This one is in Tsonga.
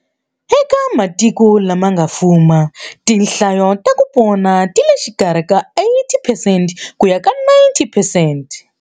Eka matiko lama nga fuma, tinhlayo ta ku pona ti le xikarhi ka 80 percent ku ya ka 90 percent.